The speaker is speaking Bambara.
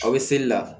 Aw bɛ seli la